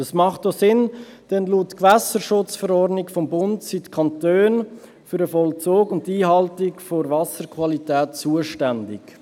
Das macht auch Sinn, denn laut Gewässerschutzverordnung (GSchV) des Bundes sind die Kantone für den Vollzug und die Einhaltung der Wasserqualität zuständig.